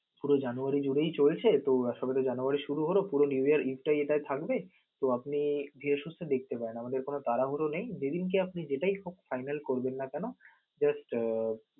সবে January July চলছে তো আশা করি জানুয়ারী শুরু হলো পুরো এটাই থাকবে তো আপনি ধীরে সুস্থে দেখতে পারেন আমাদের কোন তাড়াহুড়ো নেই. যেদিনকে আপনি যেটাই হোক final করবেন না কেন just আহ